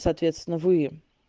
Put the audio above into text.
соответственно вы